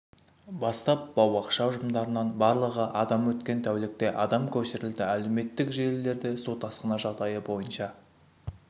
бастап бау-бақша ұжымдарынан барлығы адам өткен тәулікте адам көшірілді әлеуметтік желілерде су тасқыны жағдайы бойынша